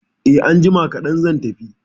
Eh, anjima kadan zan tafi